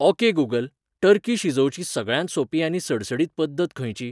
Okay Google turkey शिजोवची सगळ्यांत सोपी आनी सडसडीत पद्दत खंयची?